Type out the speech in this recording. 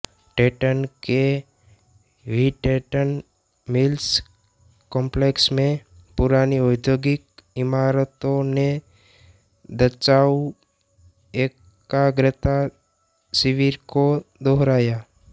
टैटन के Whittenton Mills complex में पुरानी औद्योगिक इमारतों ने दचाऊ एकाग्रता शिविर को दोहराया